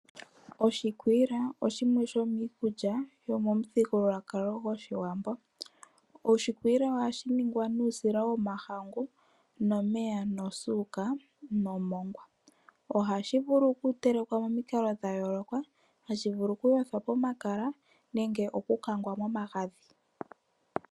Oshikwiila osho shimwe shomiikulya yomomuthigululwakalo gwoshiwambo. Oshikwiila ohashi ningwa nuusila womahangu, omeya, osuuka, nomongwa. Ohashi vulu okutelekwa momikalo dhayooloka, hashi vulu okuyothwa pomakala, nenge okutelekwa momagadhi.